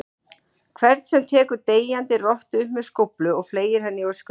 hvern sem tekur deyjandi rottu upp með skóflu og fleygir henni í öskutunnuna.